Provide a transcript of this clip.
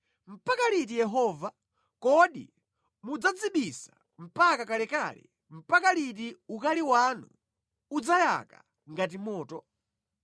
“Mpaka liti Yehova? Kodi mudzadzibisa mpaka kalekale? Mpaka liti ukali wanu udzayaka ngati moto?